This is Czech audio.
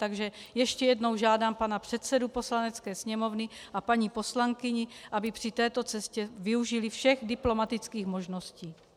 Takže ještě jednou žádám pana předsedu Poslanecké sněmovny a paní poslankyni, aby při této cestě využili všech diplomatických možností.